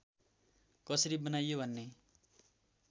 कसरी बनाइयो भन्ने